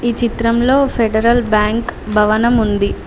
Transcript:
ఈ చిత్రంలో Federal Bank భవనం ఉంది.